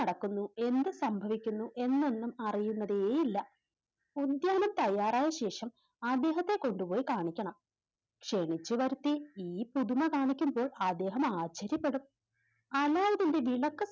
നടക്കുന്നു എന്ത് സംഭവിക്കുന്നു എന്നൊന്നും അറിയുന്നതേ ഇല്ല ഉദ്യാനം തയ്യാറായ ശേഷം അദ്ദേഹത്തെ കൊണ്ടുപോയി കാണിക്കണം ക്ഷണിച്ചുവരുത്തി ഈ പുതുമ കാണിക്കുമ്പോൾ അദ്ദേഹം ആശ്ചര്യപ്പെടും അനായതിൻറെ